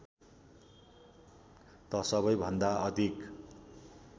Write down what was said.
त सबैभन्दा अधिक